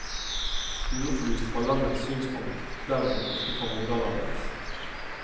Uopplyst fra landets synspunkt, derimot ikke fra moderlandets.